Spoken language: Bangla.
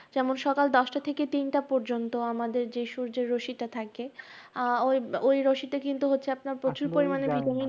যেমন সকাল দশটা থেকে তিনটা পর্যন্ত আমাদের যে সূর্যরশ্মিটা থাকে, আহ ঐ ঐ রশ্মিটা কিন্তু হচ্ছে আপনার প্রচুর পরিমাণে vitamin ।